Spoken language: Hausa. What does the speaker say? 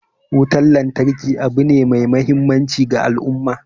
Wutan lantarki abu ne mai muhimmanci ga al'umma